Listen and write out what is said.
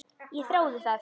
Ég þrái það.